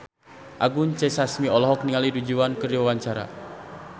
Anggun C. Sasmi olohok ningali Du Juan keur diwawancara